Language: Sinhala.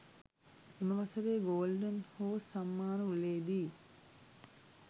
එම වසරේ ගෝල්ඩන් හෝස් සම්මාන උළෙලේදී